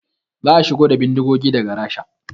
Za a shigo da bindigogin daga Rasha